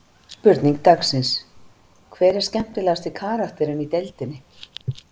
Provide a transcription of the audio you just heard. Spurning dagsins: Hver er skemmtilegasti karakterinn í deildinni?